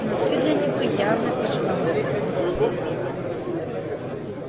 но ты для него явно тяжеловат